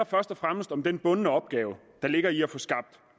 først og fremmest om den bundne opgave der ligger i at få skabt